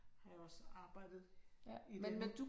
Har jeg også arbejdet imellem